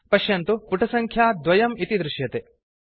पश्यन्तु पुटसङ्ख्या 2 इति दृश्यते